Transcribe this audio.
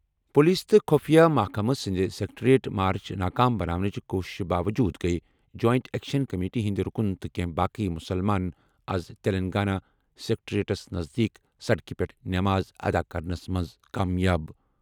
Police تہٕ خُفیہ محکمہٕ سٕنٛدِ سکریٹریٹ مارٕچ ناکام بناونٕچہِ کوُشِشن باووٚجوٗد گٔیہِ جوائنٹ ایکشن کمیٹی ہٕنٛدۍ رُکُن تہٕ کینٛہہ باقٕے مُسلمان آز تیٚلنٛگانہ سکریٹریٹَس نزدیٖک سڑکہِ پٮ۪ٹھ نماز ادا کرنس منٛز کامیاب۔